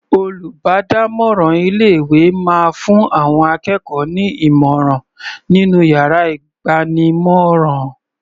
Olùbádámọ̀ràn ilé ìwé máa fún àwọn akẹ́kọ̀ọ́ ní ìmọ̀ràn nínú yàrá ìgbanímọ̀ràn.